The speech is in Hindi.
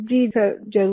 जी सर जरूर